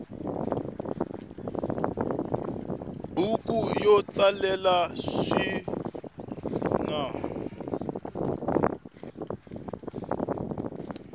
buku yo tsalela sikunasiku